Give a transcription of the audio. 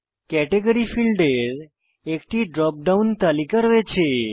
category ফীল্ডের একটি drop down তালিকা রয়েছে